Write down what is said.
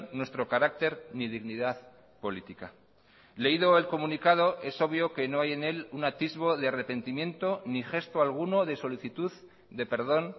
nuestro carácter ni dignidad política leído el comunicado es obvio que no hay en él un atisbo de arrepentimiento ni gesto alguno de solicitud de perdón